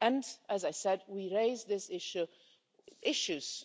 And, as I said, we raise these issues,